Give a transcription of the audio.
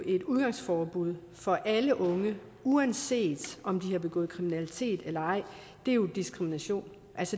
et udgangsforbud for alle unge uanset om de har begået kriminalitet eller ej er jo diskrimination